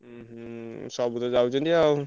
ହୁଁ ହୁଁ ସବୁ ତ ଯାଉଛନ୍ତି ଆଉ।